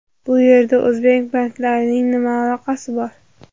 Bu yerda o‘zbek banklarining nima aloqasi bor?